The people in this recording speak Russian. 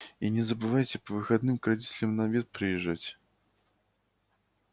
и не забывайте по выходным к родителям на обед приезжать